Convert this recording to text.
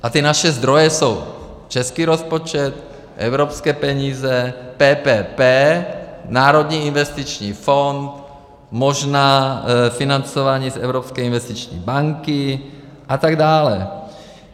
A ty naše zdroje jsou český rozpočet, evropské peníze, PPP, Národní investiční fond, možná financování z Evropské investiční banky a tak dále.